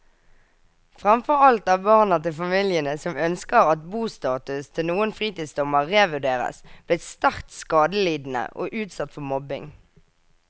Fremfor alt er barna til familiene som ønsker at bostatus til noen fritidseiendommer revurderes, blitt sterkt skadelidende og utsatt for mobbing.